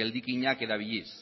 geldikinak erabiliz